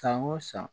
San o san